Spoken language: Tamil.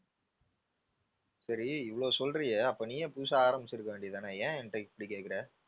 சரி இவ்ளோ சொல்றியே அப்போ நீயே புதுசா ஆரம்பிச்சி இருக்க வேண்டியது தானே. ஏன் என்கிட்ட இப்படி கேக்குற?